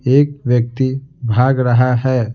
एक व्यक्ति भाग रहा है।